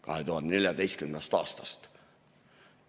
Alates 2014. aastast!